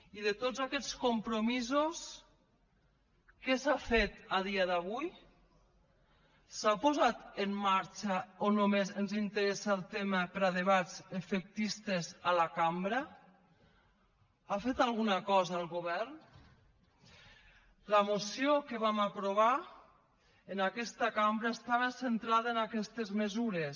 i de tots aquests compromisos què s’ha fet a dia d’avui s’ha posat en marxa o només ens interessa el tema per a debats efectistes a la cambra ha fet alguna cosa el govern la moció que vam aprovar en aquesta cambra estava centrada en aquestes mesures